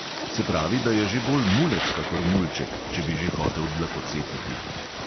Se pravi, da je že bolj mulec kakor mulček, če bi že hotel dlakocepiti.